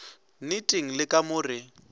nneteng le ka mo re